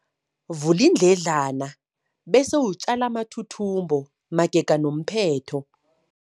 Vula iindledlana bese utjale amathuthumbo magega nomphetho.